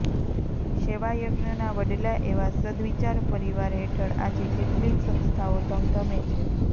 સેવાયજ્ઞના વડલા એવા સદ્દવિચાર પરિવાર હેઠળ આજે કેટલીય સંસ્થાઓ ધમધમે છે